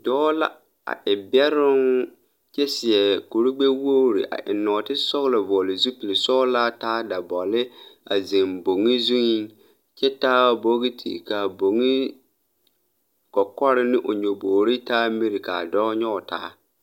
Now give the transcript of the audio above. Dɔɔ la a e bɛroŋ kyɛ seɛ kurigbɛwogre a eŋ nɔɔtisɔglɔ vɔɔle zupile sɔglaa taa dabɔle a zeŋ boŋe zuiŋ kyɛ taa bogiti kaa boŋe kɔkɔre ne o nyobogre taa miri kaa dɔɔ nyoge taa.